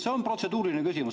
See on protseduuriline küsimus.